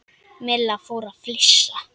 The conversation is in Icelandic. Milla fór að flissa.